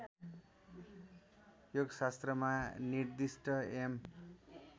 योगशास्त्रमा निर्दिष्ट यम